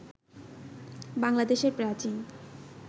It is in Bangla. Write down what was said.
বাংলাদেশের প্রাচীন